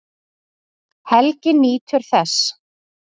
Helgi nýtur þess.